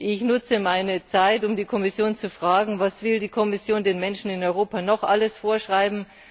Ich nutze meine Zeit, um die Kommission zu fragen Was will die Kommission den Menschen in Europa noch alles vorschreiben?